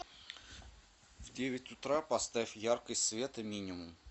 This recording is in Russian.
в девять утра поставь яркость света минимум